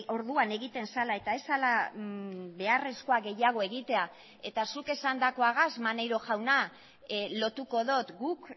orduan egiten zela eta ez zela beharrezkoa gehiago egitea eta zuk esandakoagaz maneiro jauna lotuko dut guk